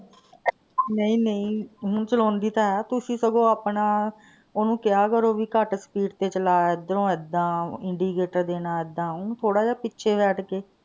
. ਨਹੀਂ ਨਹੀਂ, ਓਹਨੂੰ ਚਲਾਉਂਦੀ ਤਾਂ ਹੈ। ਤੁਸੀਂ ਸਗੋਂ ਆਪਣਾ ਉਹਨੂੰ ਕਿਹਾ ਕਰੋ ਵੀ speed ਘੱਟ ਤੇ ਚਲਾ, ਇਧਰੋਂ ਇੱਦਾਂ, indicator ਦੇਣਾ ਇੱਦਾਂ ਉਹਨੂੰ ਥੋੜਾ ਜਿਹਾ ਪਿੱਛੇ ਬੈਠ ਕੇ,